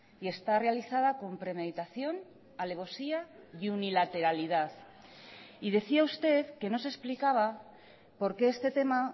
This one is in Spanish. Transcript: y está realizada con premeditación alevosía y unilateralidad y decía usted que no se explicaba por qué este tema